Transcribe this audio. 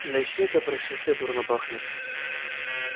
да и всё это происшествие дурно пахнет